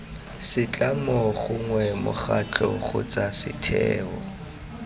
setlamo gongwe mokgatlho kgotsa setheo